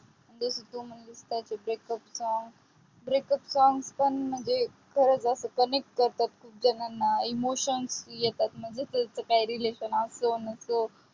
जस तू मनली breakup song breakup song पण म्हणजे खूप अस connect करता खूप झनाना emotions येतात. म्हणजे ब्रेकच काय relation असो नसो.